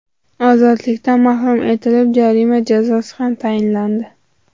ozodlikdan mahrum etilib, jarima jazosi ham tayinlandi.